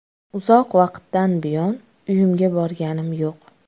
Uzoq vaqtdan buyon uyimga borganim yo‘q.